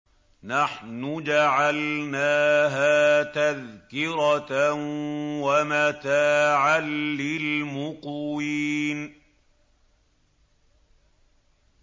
نَحْنُ جَعَلْنَاهَا تَذْكِرَةً وَمَتَاعًا لِّلْمُقْوِينَ